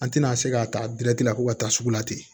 An tɛna se k'a ta la ko ka taa sugu la ten